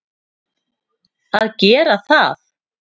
að gera það.